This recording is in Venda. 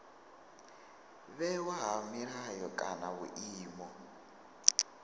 vhewa ha milayo kana vhuimo